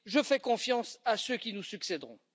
Je fais confiance à ceux qui nous succéderont.